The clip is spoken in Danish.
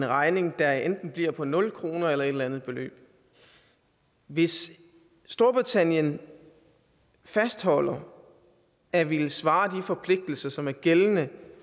regning der enten bliver på nul kroner eller et eller andet beløb hvis storbritannien fastholder at ville svare de forpligtelser som er gældende